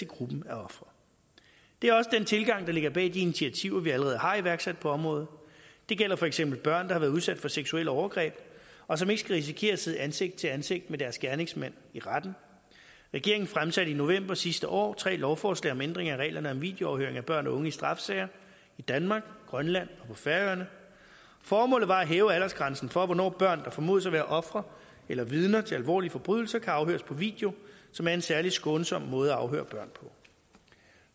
gruppen af ofre det er også den tilgang der ligger bag de initiativer vi allerede har iværksat på området det gælder for eksempel børn der har været udsat for seksuelle overgreb og som ikke skal risikere at sidde ansigt til ansigt med deres gerningsmand i retten regeringen fremsatte i november sidste år tre lovforslag om ændring af reglerne om videoafhøring at børn og unge i straffesager i danmark grønland og på færøerne formålet var at hæve aldersgrænsen for hvornår børn der formodes at være ofre eller vidner til alvorlige forbrydelser kan afhøres på video som er en særlig skånsom måde at afhøre børn på